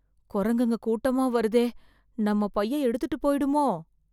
குரங்குங்க கூட்டமா வருதே... நம்ம பையை எடுத்துட்டு போய்டுமோ...